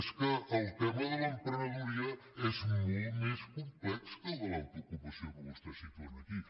és que el tema de l’emprenedoria és molt més complex que el de l’autoocupació que vostès situen aquí